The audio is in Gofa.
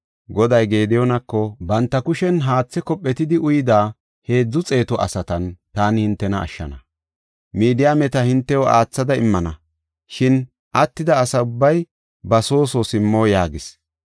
Goday Gediyoonako, “Banta kushen haathe kophetidi uyida heedzu xeetu asatan taani hintena ashshana; Midiyaameta hintew aathada immana. Shin attida asa ubbay ba soo soo simmo” yaagis.